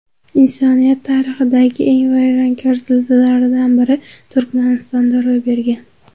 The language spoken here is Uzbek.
Insoniyat tarixidagi eng vayronkor zilzilalardan biri Turkmanistonda ro‘y bergan.